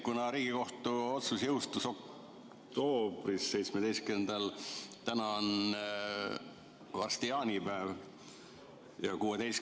Kuna Riigikohtu otsus jõustus 17. oktoobril, varsti on jaanipäev ja 16.